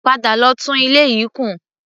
Padà lọ tún ilé yìí kùn!